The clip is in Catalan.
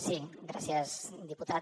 sí gràcies diputat